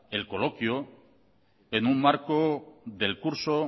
el coloquio en un marco del curso